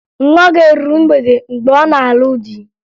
Nwa gị eruru mgbede mgbe ọ na-alụ di?